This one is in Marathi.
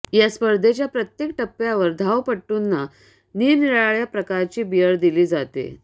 या स्पर्धेच्या प्रत्येक टप्प्यावर धावपटूंना निरनिराळ्या प्रकारची बियर दिली जाते